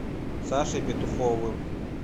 сашей петуховым